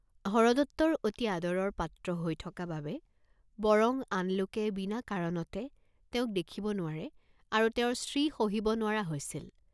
হৰদত্তৰ অতি আদৰৰ পাত্ৰ হৈ থকা বাবে বৰং আন লোকে বিনা কাৰনতে তেওঁক দেখিব নোৱাৰে আৰু তেওঁৰ শ্ৰী সহিব নোৱাৰা হৈছিল।